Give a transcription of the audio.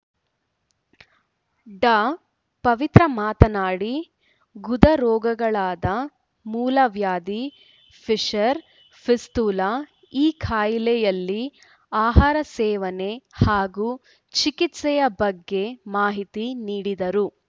ಡಾಪವಿತ್ರ ಮಾತನಾಡಿ ಗುದರೋಗಗಳಾದ ಮೂಲವ್ಯಾಧಿ ಪಿಷರ್‌ ಪಿಸ್ತುಲ ಈ ಕಾಯಿಲೆಯಲ್ಲಿ ಆಹಾರ ಸೇವೆನೆ ಹಾಗೂ ಚಿಕಿತ್ಸೆಯ ಬಗ್ಗೆ ಮಾಹಿತಿ ನೀಡಿದರು